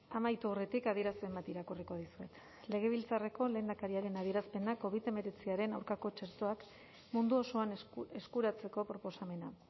amaitu aurretik adierazpen bat irakurriko dizuet legebiltzarreko lehendakariaren adierazpena covid hemeretziaren aurkako txertoak mundu osoan eskuratzeko proposamena